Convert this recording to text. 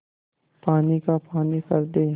पानी का पानी कर दे